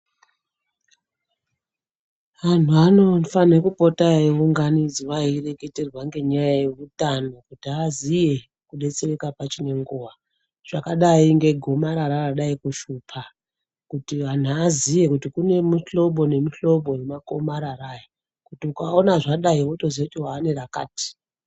Anhu anofana kupota eingunidzwa eireketerwa nenyaya yehutano kuti aziye kudetsereka pachine nguwa zvakadai negomarara radai kushupa kuti antu aziye kuti kune muhlobo nemuhlobo wemakomarara aya kuti ukaona radai wotoziva kuti chakati.